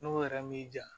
N'o yɛrɛ m'i ja